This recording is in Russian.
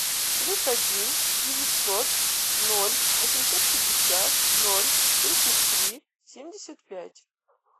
плюс один девятьсот ноль восемьсот пятьдесят ноль тридцать три семьдесят пять